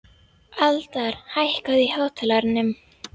Aldar, hækkaðu í hátalaranum.